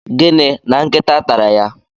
Gịnị! na nkịta tara ya?